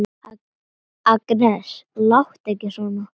Agnes, láttu ekki svona!